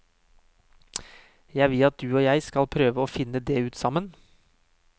Jeg vil at du og jeg skal prøve å finne det ut sammen.